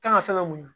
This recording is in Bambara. Kan ka fɛn ka mun